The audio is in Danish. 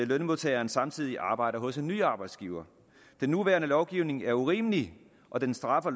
lønmodtageren samtidig arbejder hos en ny arbejdsgiver den nuværende lovgivning er urimelig og den straffer